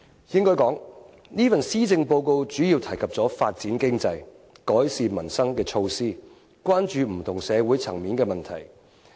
應該說，這份施政報告主要提及發展經濟、改善民生的措施，關注不同社會層面的問題。